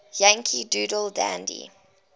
yankee doodle dandy